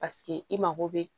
Paseke i mako bɛ